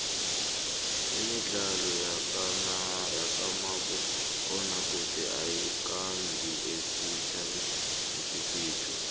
imidlalo yakamabona kude ayikandi esitjhabeni sekhethu